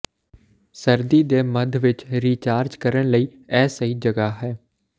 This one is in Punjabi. ਸਰਦੀ ਦੇ ਮੱਧ ਵਿੱਚ ਰੀਚਾਰਜ ਕਰਨ ਲਈ ਇਹ ਸਹੀ ਜਗ੍ਹਾ ਹੈ